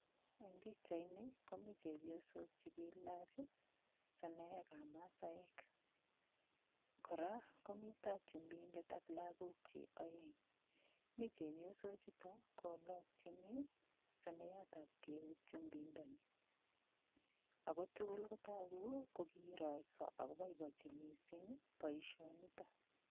Eng' pikchaini komito chepyosok chekiilach seneekab masaek kora komito chumbindet ak lakokchi oeng' mi chepyoso chuto kolokchini soneyatab keut chumbindoni ako tugul kotoku ko kirorso akoboiboichi mising' boishonito